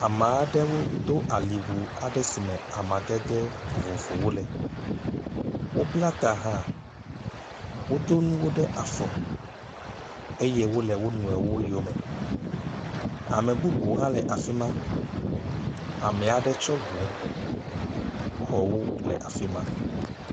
Ame aɖewo do awu aɖe si me amadede vovovowo le, wobla ta hã, wodo nuwo ɖe afɔ eye wole wo nɔewo yome. Ame bubu aɖe hã le afi ma. Amea ɖe tsɔ ŋu, xɔ wo le afi ma.